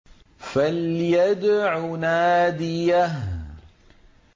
فَلْيَدْعُ نَادِيَهُ